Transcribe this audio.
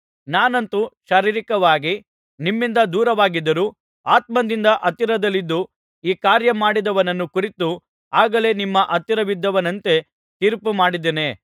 ನಾನಂತೂ ಶಾರೀರಿಕವಾಗಿ ನಿಮ್ಮಿಂದ ದೂರವಾಗಿದ್ದರೂ ಆತ್ಮದಿಂದ ಹತ್ತಿರದಲ್ಲಿದ್ದು ಈ ಕಾರ್ಯ ಮಾಡಿದವನನ್ನು ಕುರಿತು ಆಗಲೇ ನಿಮ್ಮ ಹತ್ತಿರವಿದ್ದವನಂತೆ ತೀರ್ಪು ಮಾಡಿದ್ದೇನೆ